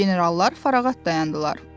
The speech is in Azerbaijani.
Generallar farağat dayandılar.